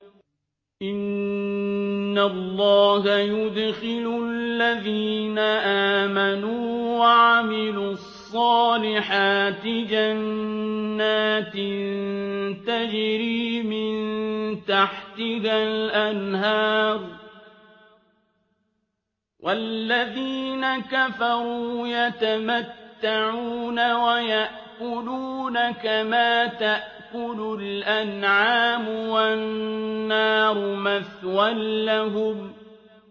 إِنَّ اللَّهَ يُدْخِلُ الَّذِينَ آمَنُوا وَعَمِلُوا الصَّالِحَاتِ جَنَّاتٍ تَجْرِي مِن تَحْتِهَا الْأَنْهَارُ ۖ وَالَّذِينَ كَفَرُوا يَتَمَتَّعُونَ وَيَأْكُلُونَ كَمَا تَأْكُلُ الْأَنْعَامُ وَالنَّارُ مَثْوًى لَّهُمْ